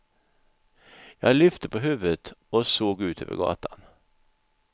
Jag lyfte på huvudet och såg ut över gatan.